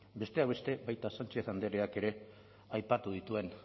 besteak beste baita sánchez andreak ere aipatu dituen